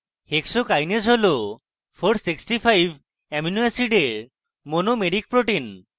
hexokinase হল 465 amino অ্যাসিডের একটি monomeric protein